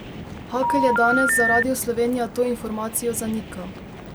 Hakl je danes za Radio Slovenija to informacijo zanikal.